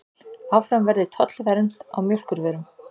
Áfram verði tollvernd á mjólkurvörum